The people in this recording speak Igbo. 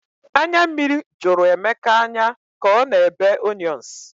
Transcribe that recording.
Anya mmiri jụrụ Emeka anya ka ọ na ebe onions